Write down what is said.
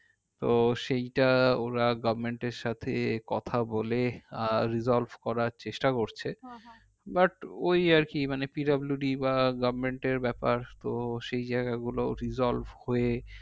তো সেইটা ওরা government এর সাথে কথা বলে আহ resolved করার চেষ্টা করছে but ওই আর কি মানে PWD বা